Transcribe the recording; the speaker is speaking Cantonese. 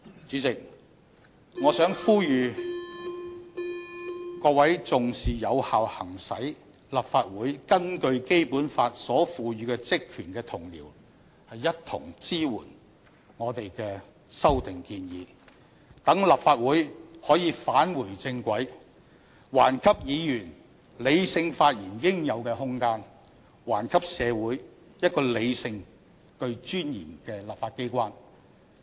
主席，我想呼籲各位重視有效行使立法會根據《基本法》所賦予的職權的同事一同支援我們的修訂建議，讓立法會可以返回正軌，還給議員理性發言應有的空間，還給社會一個理性並具尊嚴的立法機關。